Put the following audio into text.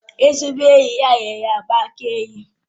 Ezigbo enyi ya nyere ya mgbaaka enyi